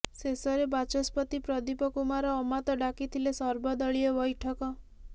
ଶେଷରେ ବାଚସ୍ପତି ପ୍ରଦୀପ କୁମାର ଅମାତ ଡାକିଥିଲେ ସର୍ବଦଳୀୟ ବୈଠକ